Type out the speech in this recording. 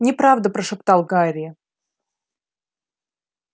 неправда прошептал гарри